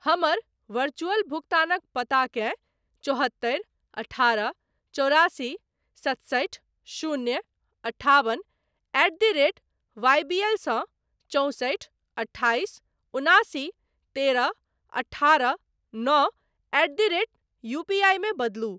हमर वरचुअल भुगतानक पताकेँ चौहत्तरि अठारह चौरासी सतसठि शून्य अठाबन एट द रेट वाईबीएल सँ चौंसठि अठाइस उनासी तेरह अठारह नओ एट द रेट यूपीआई मे बदलू।